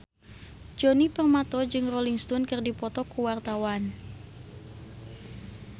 Djoni Permato jeung Rolling Stone keur dipoto ku wartawan